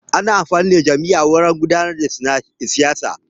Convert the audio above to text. Ana amfani da jam'iyya wajan gudanar da siyasa.